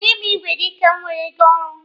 Ị ga-enye m igwe gị ka m were gaa ọrụ?